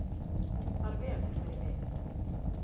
Far vel kæri vin.